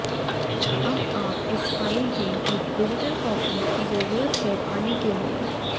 अब आप इस फाइल की एक डिजिटल कॉपी की जरूरत है पाने के लिए